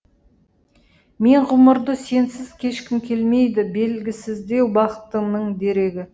мен ғұмырды сенсіз кешкім келмейді белгісіздеу бақытының дерегі